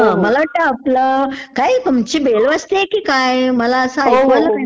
मला वाटतं आपला ....काय तुमची बेल वाजतेय की काय? मला असं ऐकू आलं काहीतरी...